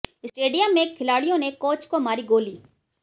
stadium में खिलाड़ियों ने कोच को मारी गोली